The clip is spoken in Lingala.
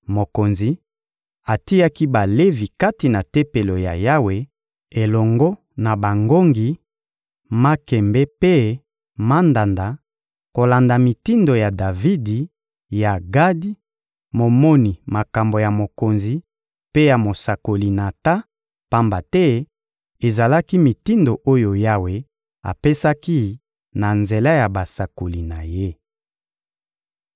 Mokonzi atiaki Balevi kati na Tempelo ya Yawe elongo na bangongi, makembe mpe mandanda kolanda mitindo ya Davidi, ya Gadi, momoni makambo ya mokonzi; mpe ya mosakoli Natan; pamba te ezalaki mitindo oyo Yawe apesaki na nzela ya basakoli na Ye.